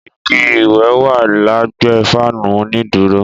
Ìgí ìwé wà lẹgbe fanu ònídúrò